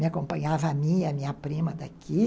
Me acompanhava a minha, a minha prima daqui.